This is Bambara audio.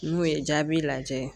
N'o ye jaabi lajɛ ye